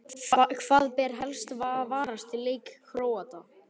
Hvað ber helst að varast í leik Króata?